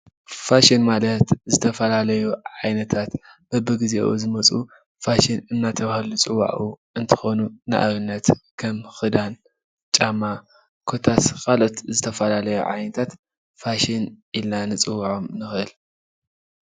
ፋሽን ማለት ዝተፈላለዩ ዓይነታት በብግዝኡ ዝመፁ ፋሽን እዳተባሃሉ ዝፅውዑ እንትከኑ ንኣብነት ከም ክድን፣ ጫማ ኮታስ ካልኡት ዝተፈላለዩ ዓይነታት ፋሽን ኢልና ንፅወዖም።